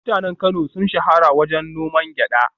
Mutanen Kano sun shahara wajen noman gyada